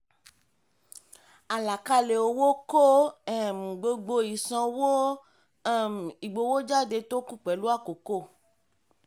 àlàkalẹ̀ owó kó um gbogbo ìsanwó um ìgbowójáde tó kù pẹ̀lú àkókò.